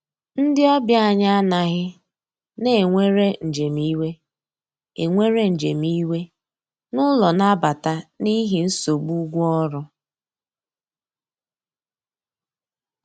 Ndi ọbịa anyi anaghi na enwere njem iwe enwere njem iwe n'ụlọ nabata n'ihi nsogbụ ụgwọ ọrụ